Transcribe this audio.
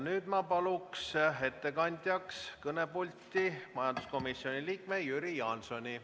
Nüüd ma palun ettekandeks kõnepulti majanduskomisjoni liikme Jüri Jaansoni.